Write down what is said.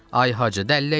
Ay Hacı, dəllək nədir?